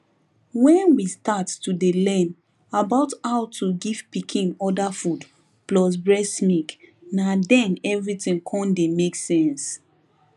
when we start to dey learn about how to give pikin other food plus breast milk na then everything con dey make sense